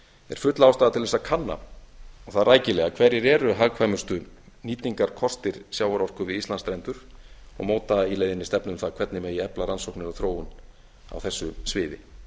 er full ástæða til að kanna og það rækilega hverjir eru hagkvæmustu nýtingarkostir sjávarorku við íslandsstrendur og móta í leiðinni stefnu um það hvernig megi efla rannsóknir og þróun á þessu sviði